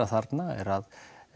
þarna er að